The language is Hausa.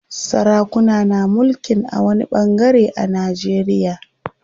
Sarakuna na mulkin a wani ɓangare a Najeriya.